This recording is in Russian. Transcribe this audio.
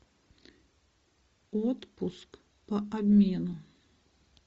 отпуск по обмену